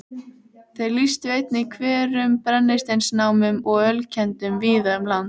Þeir lýstu einnig hverum, brennisteinsnámum og ölkeldum víða um land.